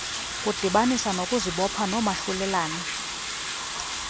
kudibanisa ngokuzibopha noomahlulelane